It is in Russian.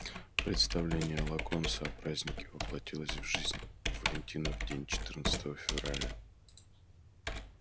представление локонса о празднике воплотилось в жизнь в валентинов день четырнадцатого февраля